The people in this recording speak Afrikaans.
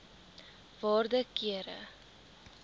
waarde kere